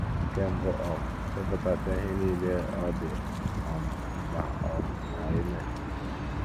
Nke mbụ um, depụtasịa ihe nile ọ dị um mkpa um ka i mee.